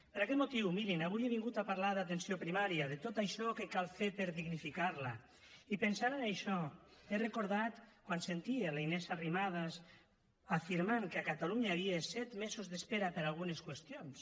per aquest motiu mirin avui he vingut a parlar d’atenció primària de tot això que cal fer per dignificar la i pensant en això he recordat quan sentia la inés arrimadas afirmant que a catalunya hi havia set mesos d’espera per a algunes qüestions